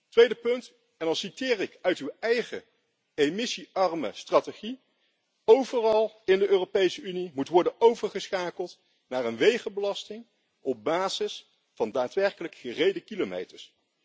Een tweede punt en dan citeer ik uit uw eigen emissie arme strategie overal in de Europese Unie moet worden overgeschakeld naar een wegenbelasting op basis van daadwerkelijk gereden kilometers.